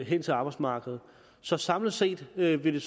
hen til arbejdsmarkedet så samlet set vil det